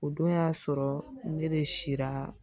O don y'a sɔrɔ ne de siran